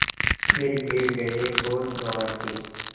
फिर गिर गये होश गँवा के